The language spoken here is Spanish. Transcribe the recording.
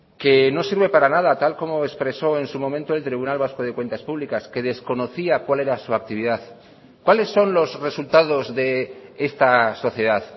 que no sirve para nada tal como expresó en su momento el tribunal vasco de cuentas públicas que desconocía cuál era su actividad cuáles son los resultados de esta sociedad